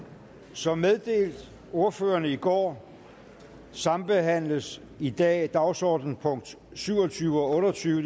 som meddelt ordførerne i går sambehandles i dag dagsordenspunkt syv og tyve og otte og tyve